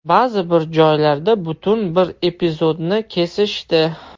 Ba’zi bir joylarda butun bir epizodni kesishdi.